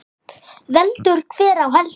Veldur hver á heldur.